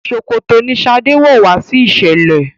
ṣòkòtò ní shade wọ wá sí iṣẹlẹ